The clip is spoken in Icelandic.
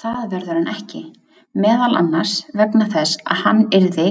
Það verður hann ekki, meðal annars vegna þess að hann yrði